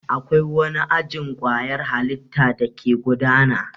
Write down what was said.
Akwai wani ajin kwayar halitta dake gudana.